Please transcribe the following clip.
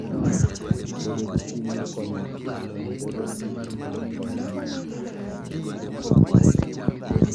Bedo gi chuny mar konyo ji: En bedo gi chuny mar konyo ji mondo ong'e wach maber.